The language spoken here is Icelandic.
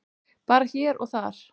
Bara hér og þar.